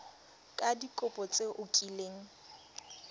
ka dikopo tse o kileng